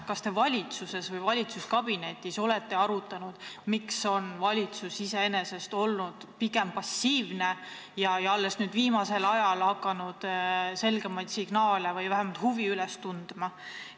Kas te valitsuses või valitsuskabinetis olete arutanud, miks on valitsus olnud pigem passiivne ja alles nüüd, viimasel ajal hakanud selgemaid signaale saatma või vähemalt huvi üles näitama?